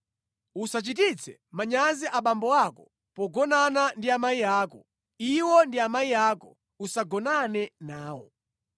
“ ‘Usachititse manyazi abambo ako pogonana ndi amayi ako. Iwo ndi amayi ako. Usagonane nawo.